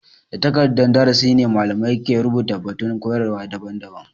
Da takardan darasi ne malamai ke rubuta batun koyarwa daban-daban.